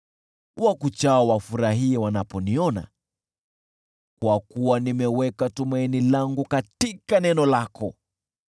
Wakuchao wafurahie wanaponiona, kwa kuwa nimeweka tumaini langu katika neno lako.